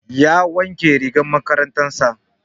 Ya wanke rigar makarantar sa